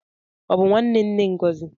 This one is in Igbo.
Ọ bụ nwanne nne Ngozi?